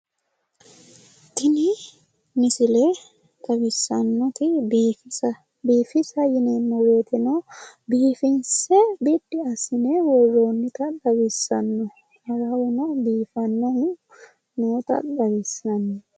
Tini misile xawissannoti biifisa. Biifisa yineemmo woyiteno biifinse biddi assine worroonnita lawissanno. Awawuno biifannohu noota xawissanno.